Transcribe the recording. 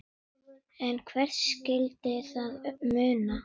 En hverju skyldi það muna?